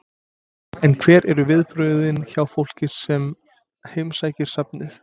En hver eru viðbrögðin hjá fólki sem heimsækir safnið?